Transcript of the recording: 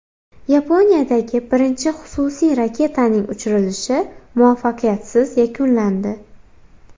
Yaponiyadagi birinchi xususiy raketaning uchirilishi muvaffaqiyatsiz yakunlandi.